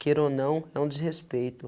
Queira ou não, é um desrespeito.